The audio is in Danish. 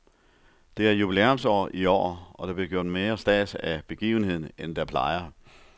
Det er jubilæumsår i år, og der bliver gjort mere stads af begivenheden, end der plejer.